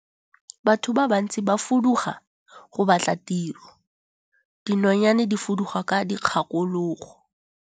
Batho ba bantsi ba fuduga go batla tiro, dinonyane di fuduga ka dikgakologo.